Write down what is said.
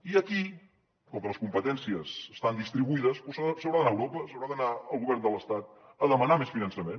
i aquí com que les competències estan distribuïdes doncs s’haurà d’anar a europa s’haurà d’anar al govern de l’estat a demanar més finançament